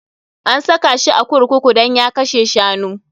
An saka shi a kurkuku dan ya kashe shanu.